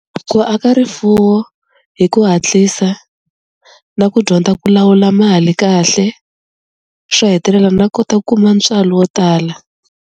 Ku aka rifuwo hi ku hatlisa na ku dyondza ku lawula mali kahle xo hetelela na kota kuma ntswalo wo tala.